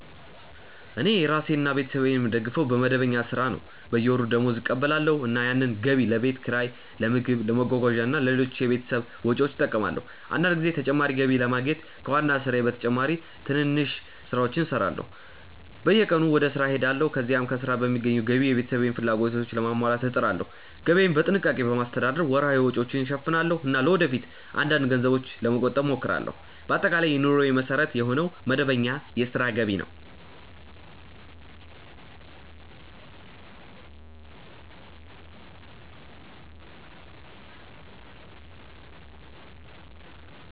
እኔ ራሴንና ቤተሰቤን የምደግፈው በመደበኛ ሥራ ነው። በየወሩ ደመወዝ እቀበላለሁ፣ እናም ያንን ገቢ ለቤት ኪራይ፣ ለምግብ፣ ለመጓጓዣ እና ለሌሎች የቤተሰብ ወጪዎች እጠቀማለሁ። አንዳንድ ጊዜ ተጨማሪ ገቢ ለማግኘት ከዋና ሥራዬ በተጨማሪ ሌሎች ትንንሽ ሥራዎችንም እሠራለሁ። በየቀኑ ወደ ሥራ እሄዳለሁ፣ ከዚያም ከሥራ በሚገኘው ገቢ የቤተሰቤን ፍላጎቶች ለማሟላት እጥራለሁ። ገቢዬን በጥንቃቄ በማስተዳደር ወርሃዊ ወጪዎችን እሸፍናለሁ እና ለወደፊት አንዳንድ ገንዘብ ለመቆጠብም እሞክራለሁ። በአጠቃላይ የኑሮዬ መሠረት የሆነው መደበኛ የሥራ ገቢ ነው።